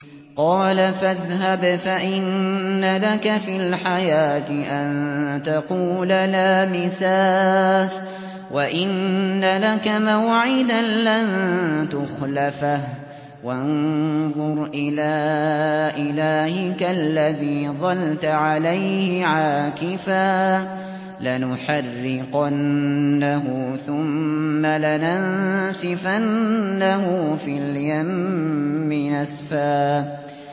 قَالَ فَاذْهَبْ فَإِنَّ لَكَ فِي الْحَيَاةِ أَن تَقُولَ لَا مِسَاسَ ۖ وَإِنَّ لَكَ مَوْعِدًا لَّن تُخْلَفَهُ ۖ وَانظُرْ إِلَىٰ إِلَٰهِكَ الَّذِي ظَلْتَ عَلَيْهِ عَاكِفًا ۖ لَّنُحَرِّقَنَّهُ ثُمَّ لَنَنسِفَنَّهُ فِي الْيَمِّ نَسْفًا